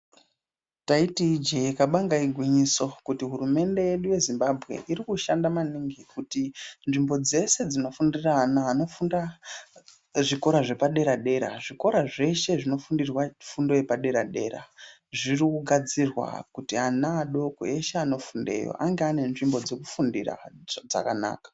Taiti ijee kabanga igwinyiso kuti hurumende yedu yeZimbabwe iri kushanda maningi kuti nzvimbo dzese dzinofundira ana anofunda muzvikora zvepadera dera. Zvikora zveshe zvinofundirwa fundo yepadera dera zviri kugadzirwa kuti ana adoko eshe anofundeyo ange anenzvimbo dzokufundira dzakanaka.